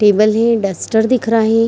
Table है duster दिख रहे हैं।